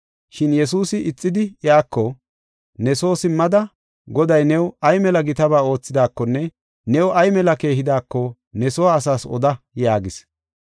Shin Yesuusi ixidi iyako, “Ne soo simmada, Goday new ay mela gitaba oothidaakonne new ay mela keehidaako ne soo asaas oda” yaagis.